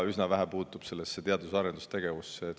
See puutub ikka üsna vähe teadus- ja arendustegevusse.